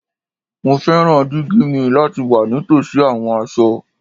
Mo fẹran digi mi lati wa nitosi awọn aṣọ